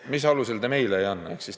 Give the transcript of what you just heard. Mis alusel te meile ei anna?